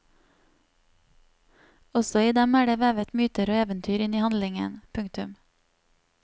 Også i dem er det vevet myter og eventyr inn i handlingen. punktum